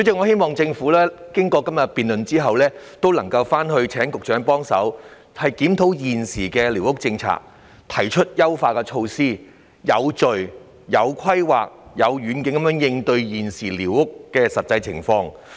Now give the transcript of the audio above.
希望政府經過今天的辯論後，局長能檢討現時的寮屋政策、提出優化措施，以及有序、有規劃及有遠景地應對現時的寮屋實際情況。